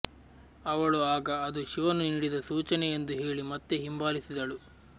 ಅವಳು ಆಗ ಅದು ಶಿವನು ನೀಡಿದ ಸೂಚನೆ ಎಂದು ಹೇಳಿ ಮತ್ತೆ ಹಿಂಬಾಲಿಸಿದಳು